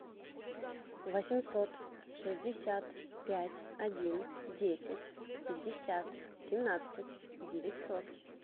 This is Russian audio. восемьсот шестьдесят пять один десять пятьдесят семнадцать девятьсот